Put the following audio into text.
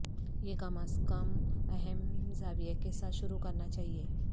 یہ کم از کم اہم زاویہ کے ساتھ شروع کرنا چاہئے